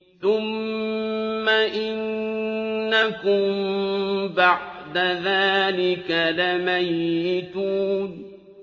ثُمَّ إِنَّكُم بَعْدَ ذَٰلِكَ لَمَيِّتُونَ